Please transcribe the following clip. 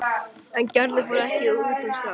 En Gerður fór ekki utan strax.